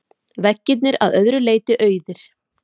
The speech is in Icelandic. Veggirnir að öðru leyti auðir.